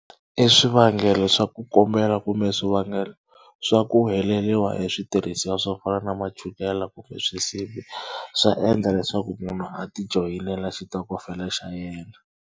I swivangelo swa ku kombela kumbe swivangelo swa ku heleriwa hi switirhisiwa swo fana na ma chukela kumbe swisibi swa endla leswaku munhu a tijoyinela xitokofela xa yena.